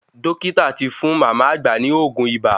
Dókítà tí fún mama àgbà ní oògùn ibà